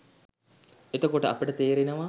එතකොට අපට තේරෙනවා